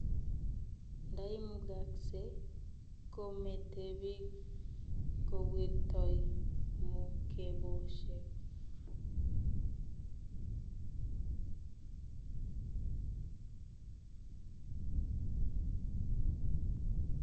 Ndaimugaksee kometo biik kowirtoi mukeboshek ago tagatagek alak eng oret yaiwendi tulondok